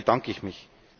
Dafür bedanke ich mich.